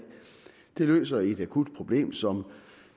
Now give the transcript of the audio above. løser et akut problem som